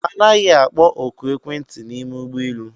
Anaghị akpọ ọkụ ekwentị n'ime ụgbọelu